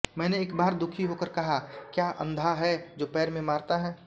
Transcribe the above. मैंने एक बार दुःखी होकर कहा क्याअंधा है जो पैर में मारता है